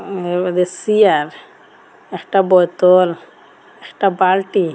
উঃ এর মধ্যে সিয়ার একটা বোতল একটা বালটি।